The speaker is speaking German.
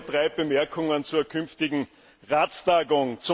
Erlauben Sie mir drei Bemerkungen zur künftigen Ratstagung.